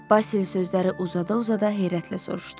Basil sözləri uzada-uzada heyrətlə soruşdu.